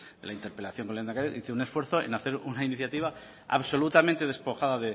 de la interpelación con el lehendakari hice un esfuerzo en hacer una iniciativa absolutamente despojada